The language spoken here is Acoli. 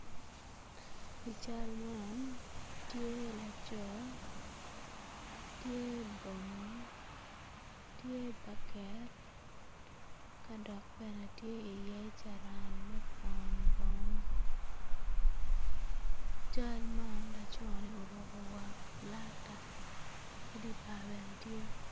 I cal man tye laco tye bongi tye baket ka dok bene tye i ye carani me kwo bongo cal man lacone oruko war flata ki di bar bene tye.